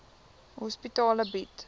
psigiatriese hospitale bied